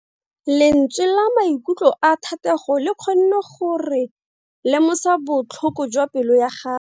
Lentswe la maikutlo a Thatego le kgonne gore re lemosa botlhoko jwa pelo ya gagwe.